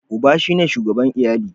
Uba shine shugaban iyali.